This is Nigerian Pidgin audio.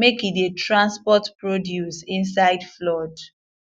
make e dey transport produce inside flood